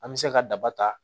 An bɛ se ka daba ta